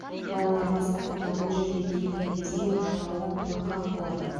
балалар бастапқыда бұл жерге келген кезде жылауық қорқақ болатын